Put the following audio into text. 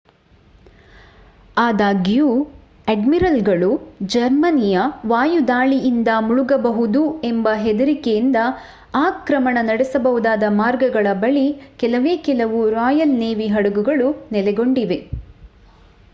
ಆದಾಗ್ಯೂ ಅಡ್ಮಿರಲ್‌ಗಳು ಜರ್ಮನಿಯ ವಾಯುದಾಳಿಯಿಂದ ಮುಳುಗಬಹುದು ಎಂಬ ಹೆದರಿಕೆಯಿಂದ ಆಕ್ರಮಣ ನಡೆಸಬಹುದಾದ ಮಾರ್ಗಗಳ ಬಳಿ ಕೆಲವೇ ಕೆಲವು ರಾಯಲ್ ನೇವಿ ಹಡಗುಗಳು ನೆಲೆಗೊಂಡಿವೆ